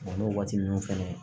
n'o waati ninnu fɛnɛ